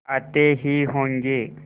आते ही होंगे